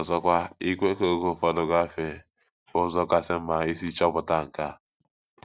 Ọzọkwa, ikwe ka oge ụfọdụ gafee bụ ụzọ kasị mma isi chọpụta nke a.